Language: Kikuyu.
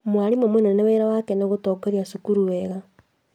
Mwarimũ mũnene wĩra wake nĩ gũtongoria cukuru wega